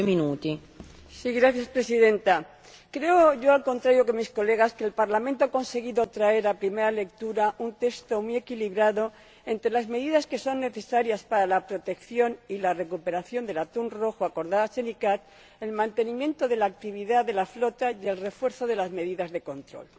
Señora Presidenta, creo yo, al contrario que mis colegas, que el Parlamento ha conseguido traer a primera lectura un texto muy equilibrado entre las medidas que son necesarias para la protección y la recuperación del atún rojo acordadas en la CICAA, el mantenimiento de la actividad de la flota y el refuerzo de las medidas de control.